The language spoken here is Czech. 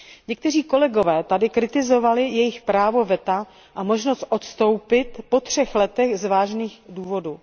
Někteří kolegové tady kritizovali jejich právo veta a možnost odstoupit po třech letech z vážných důvodů.